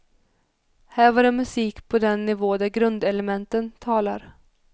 Här var det musik på den nivå där grundelementen talar.